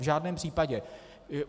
V žádném případě.